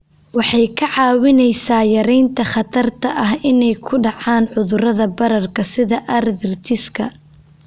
Waxay kaa caawinaysaa yaraynta khatarta ah inay ku dhacaan cudurrada bararka sida arthritis-ka.